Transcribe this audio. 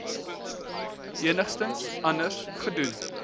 enigiets anders gedoen